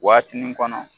Waatinin kɔnɔ